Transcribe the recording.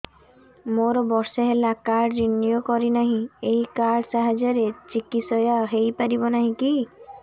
ମୋର ବର୍ଷେ ହେଲା କାର୍ଡ ରିନିଓ କରିନାହିଁ ଏହି କାର୍ଡ ସାହାଯ୍ୟରେ ଚିକିସୟା ହୈ ପାରିବନାହିଁ କି